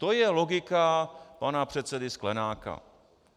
To je logika pana předsedy Sklenáka.